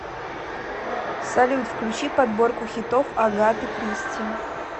салют включи подборку хитов агаты кристи